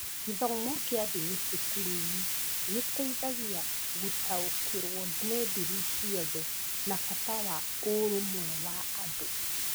Gĩthomo kĩa ndini cukuru-inĩ gĩteithagia gũtaũkĩrũo nĩ ndini ciothe na bata wa ũrũmwe wa andũ.